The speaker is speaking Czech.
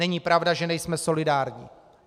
Není pravda, že nejsme solidární.